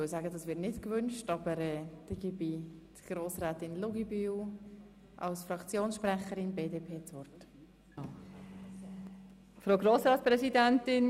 – Ich gebe Grossrätin Luginbühl als Fraktionssprecherin der BDP das Wort.